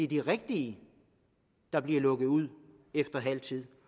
de rigtige der bliver lukket ud efter halv tid